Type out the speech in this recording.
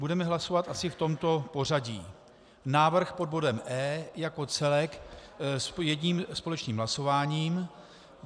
Budeme hlasovat asi v tomto pořadí: Návrh pod bodem E jako celek s jedním společným hlasováním.